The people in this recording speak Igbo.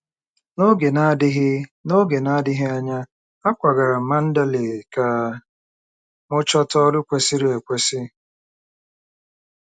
N'oge na-adịghị N'oge na-adịghị anya, akwagara m Mandalay ka m chọta ọrụ kwesịrị ekwesị.